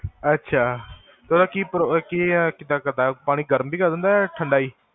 ਅਛਾ ਓਦਾ ਕੀ ਪ੍ਰੋ ਕਿਦਾਂ ਤੋਹਾਡਾ? ਪਾਣੀ ਗਰਮ ਸੀਗਾ ਯਾ ਠੰਡਾ ਜੀ?